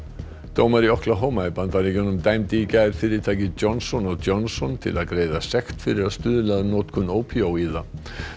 dómari í í Bandaríkjunum dæmdi í gær fyrirtækið Johnson Johnson til að greiða sekt fyrir að stuðla að notkun ópíóíða